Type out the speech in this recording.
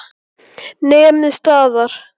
Nemið staðar!